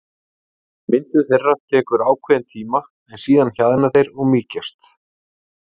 Myndun þeirra tekur ákveðinn tíma en síðan hjaðna þeir eða mýkjast.